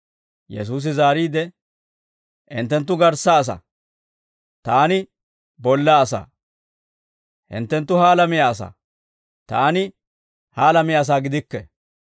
Yesuusi zaariide, «Hinttenttu garssa asaa; Taani bolla asaa. Hinttenttu ha alamiyaa asaa; Taani ha alamiyaa asaa gidikke.